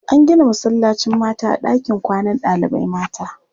An gina masallacin mata a ɗakin kwanan ɗalibai mata.